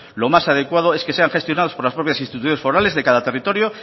lo más adecuado es que sean gestionados por las propias instituciones forales de cada territorio